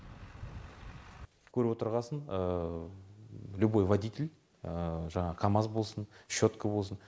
көріп отырғасын любой водитель жаңағы камаз болсын щетка болсын